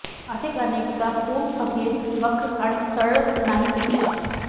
अधिक अनेकदा पूर्ण भगेंद्र वक्र आणि सरळ नाही पेक्षा